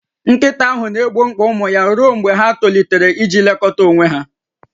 Nkịta ahụ na-egbo mkpa ụmụ ya ruo mgbe ha tolitere iji lekọta onwe ha